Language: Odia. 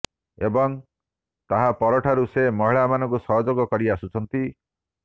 ଏବଂ ତାହା ପରଠାରୁ ସେ ମହିଳାମାନଙ୍କୁ ସହଯୋଗ କରି ଆସୁଛନ୍ତି